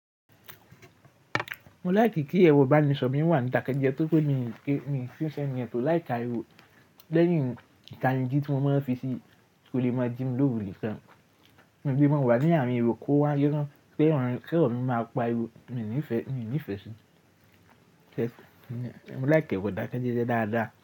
Mo like kí ẹrọ ìbánisọ̀rọ̀ mi wà ní dakẹ́jẹ́ tóri pé mi kín ṣe ènìyàn tó like ariwo. Lẹ́yìn ìkànnì dí tí mo máa ń fi sí kò lè mọ jími lóru nikán. Ǹbí mo wà ní àárín ero ko wá yóò rán pé ọ̀nà tí ọ̀nà máa pa ariwo mi ò nífẹ̀ẹ́, mi ò nífẹ̀ẹ́ sí. Kẹ́ṣì, mo like ẹrọ ìdákẹ́jẹ́ dáadáa.